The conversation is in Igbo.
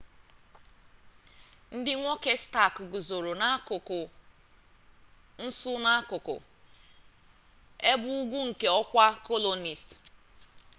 ndị nwoke stark guzoro n'akụkụ nsu n'akụkụ ebe ugwu nke ọkwa colonist